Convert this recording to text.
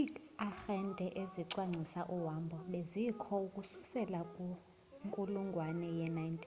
iiarhente zokucwangcisa uhambo bezikho ukususela kwinkulungwane ye-19